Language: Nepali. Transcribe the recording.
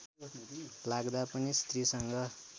लाग्दा पनि स्त्रीसँग